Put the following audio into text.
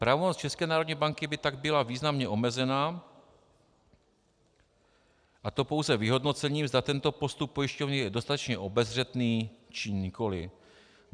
Pravomoc České národní banky by tak byla významně omezena, a to pouze vyhodnocením, zda tento postup pojišťovny je dostatečně obezřetný, či nikoli.